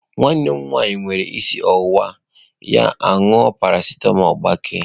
Nwanne m nwanyị were isi ọwụwa ya ṅụọ paracetamọ gbakee.